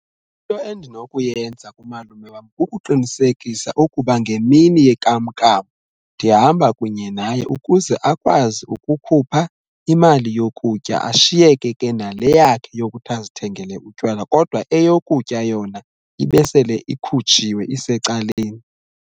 Into endinokuyenza kumalume wam kukuqinisekisa ukuba ngemini yenkamnkam ndihamba kunye naye ukuze akwazi ukukhupha imali yokutya ashiyeke ke nale yakhe yokuthi azithengele utywala kodwa eyokutya yona ibe sele ikhutshiwe isecaleni.